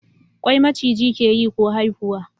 Kwai Maciji ke yi ko haifuwa?